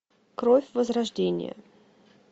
кровь возрождения